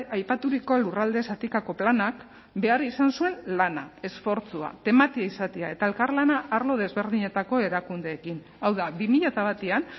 aipaturiko lurralde zatikako planak behar izan zuen lana esfortzua tematia izatea eta elkarlana arlo desberdinetako erakundeekin hau da bi mila batean